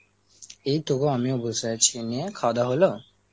এইতো গো, আমিও বসে আছি, নিয়ে খাওয়া দাওয়া হলো?